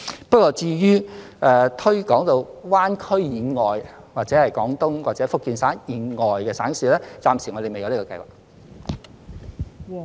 不過，至於推廣到灣區以外，或者廣東或福建省以外的省市，暫時我們未有這樣的計劃。